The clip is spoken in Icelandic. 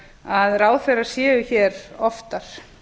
að ráðherrar séu hér oftar